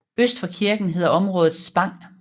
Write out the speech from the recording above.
Øst for kirken hedder området Spang